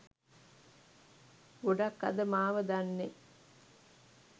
ගොඩක් අද මාව දන්නෙ